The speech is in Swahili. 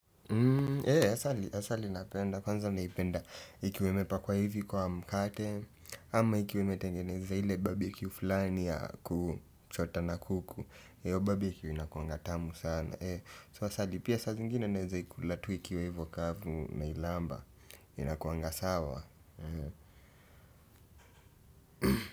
Asali napenda kwanza naipenda ikiwa imepakwa hivi kwa mkate ama ikiwa imetengeneza ile barbecue fulani ya kuchota na kuku hiyo barbecue inakuanga tamu sana sasa hadi saa zingine naeza ikula tu hivo kavu nailamba inakuanga sawa.